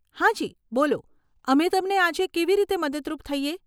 હાજી, બોલો અમે તમને આજે કેવી રીતે મદદરૂપ થઈએ?